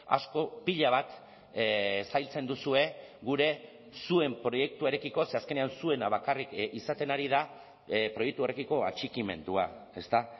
asko pila bat zailtzen duzue gure zuen proiektuarekiko ze azkenean zuena bakarrik izaten ari da proiektuarekiko atxikimendua ezta